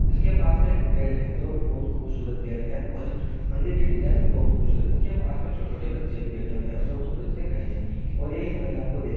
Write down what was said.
इसके पास में एक पेड़ है जो बहुत खुबसुरत है और मदिर की डिजायन बहुत खुबसुरत है। पास में छोटे छोटे बच्चे भी बैठे है और कुछ बच्चे जो खड़े है वो महिलाओ को देख--